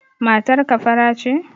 Matar ka fara ce?